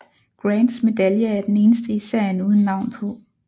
Grants medalje er den eneste i serien uden navn på